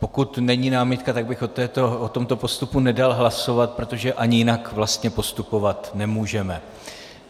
Pokud není námitka, tak bych o tomto postupu nedal hlasovat, protože ani jinak vlastně postupovat nemůžeme.